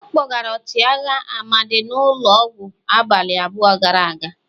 A kpọgara ọchịagha Amadi n'ulo ọgwụ abalị abụọ gara aga.